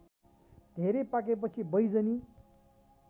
धेरै पाकेपछि बैजनी